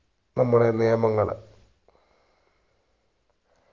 നമ്മുടെ നിയമങ്ങള്